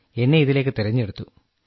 എന്നെ ഇതിലേക്ക് തിരഞ്ഞെടുത്തു